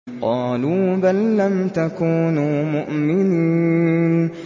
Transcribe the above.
قَالُوا بَل لَّمْ تَكُونُوا مُؤْمِنِينَ